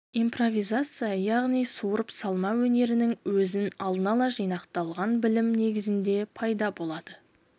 импровизация яғни суырып салма өнерінің өзі алдын-ала жинақталған білім негізінде пайда болады